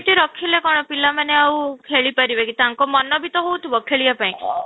ତି ରଖିଲେ କ'ଣ ରଖିଲେ ପିଲାମାନେ ଆଉ ଖେଳି ପାରିବେ କି ତାଙ୍କ ମନ ବି ତ ହଉ ଥିବ ଖେଳିବା ପାଇଁ